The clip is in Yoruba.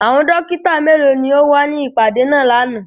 Àwọn dokita melo ni o wa ni ipade naa làná?